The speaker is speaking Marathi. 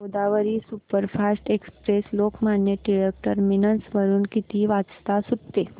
Godavari superfast express Lokmanya Tilak terminus वरून किती वाजता सुटते